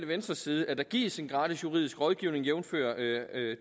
venstres side at der gives en gratis juridisk rådgivning jævnfør